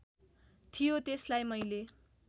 थियो त्यसलाई मैले